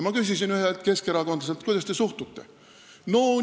Ma küsisin ühelt keskerakondlaselt, kuidas te sellesse suhtute.